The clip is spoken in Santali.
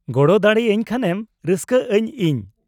-ᱜᱚᱲᱚ ᱫᱟᱲᱮ ᱟᱹᱧ ᱠᱷᱟᱱᱮᱢ ᱨᱟᱹᱥᱠᱟᱹᱜᱼᱟᱹᱧ ᱤᱧ ᱾